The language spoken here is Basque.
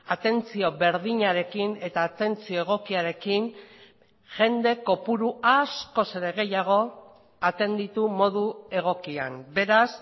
atentzio berdinarekin eta atentzio egokiarekin jende kopuru askoz ere gehiago atenditu modu egokian beraz